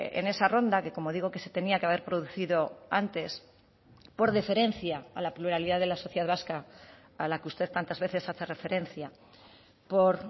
en esa ronda que como digo que se tenía que haber producido antes por deferencia a la pluralidad de la sociedad vasca a la que usted tantas veces hace referencia por